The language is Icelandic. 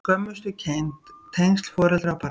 Skömmustukennd- tengsl foreldra og barna